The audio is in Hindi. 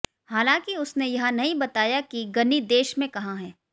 हालांकि उसने यह नहीं बताया कि गनी देश में कहां हैं